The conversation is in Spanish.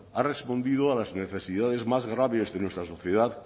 ha respondido a las necesidades más graves de nuestra sociedad